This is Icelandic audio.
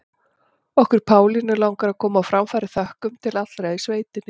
Okkur Pálínu langar að koma á framfæri þökkum til allra í sveitinni.